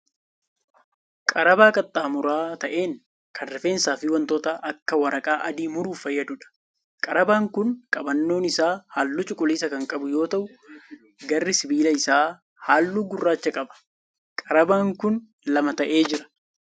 Qarabaa qaxxaamura ta'e kan rifeensaa fi wantoota akka waraqaa adii muruuf fayyaduudha. Qarabaan kun qabannoon isaa halluu cuquliisa kan qabu yoo ta'u garri sibiila isaa halluu gurraacha qaba. Qarabaan kun lama ta'ee jira.